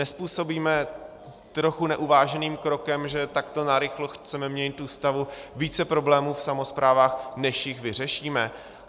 Nezpůsobíme trochu neuváženým krokem, že takto narychlo chceme měnit Ústavu, více problémů v samosprávách, než jich vyřešíme?